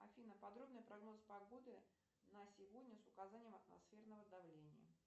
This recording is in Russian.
афина подробный прогноз погоды на сегодня с указанием атмосферного давления